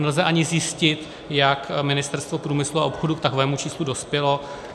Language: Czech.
Nelze ani zjistit, jak Ministerstvo průmyslu a obchodu k takovému číslu dospělo.